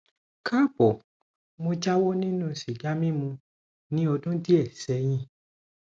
kaabo mo jáwọ nínú sìgá mímu ní ọdún díẹ sẹyìn